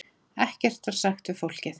Ekkert var sagt við fólkið.